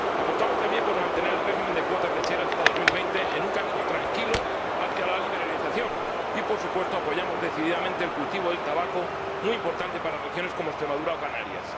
Apostamos también por mantener el régimen de cuotas lecheras hasta 2020 en un camino tranquilo hacia la liberalización y, por supuesto, apoyamos decididamente el cultivo del tabaco, muy importante para regiones como Extremadura o Canarias.